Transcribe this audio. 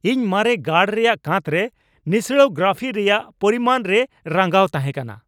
ᱤᱧ ᱢᱟᱨᱮᱱ ᱜᱟᱲ ᱨᱮᱭᱟᱜ ᱠᱟᱸᱛᱨᱮ ᱱᱤᱥᱲᱟᱟᱹᱣ ᱜᱨᱟᱯᱷᱤ ᱨᱮᱭᱟᱜ ᱯᱚᱨᱤᱢᱟᱱ ᱨᱮ ᱨᱟᱹᱜᱟᱣ ᱛᱟᱦᱮᱸ ᱠᱟᱱᱟ ᱾